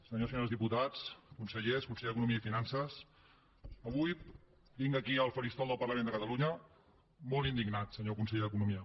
senyors i senyores diputats consellers conseller d’economia i finances avui vinc aquí al faristol del parlament de catalunya molt indignat senyor conseller d’economia